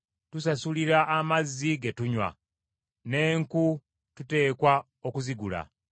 Tusasulira amazzi ge tunywa; n’enku tuteekwa okuzigula.